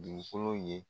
Dugukolo ye